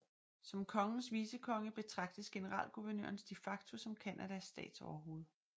Som kongens vicekonge betragtes generalguvernøren de facto som Canadas statsoverhoved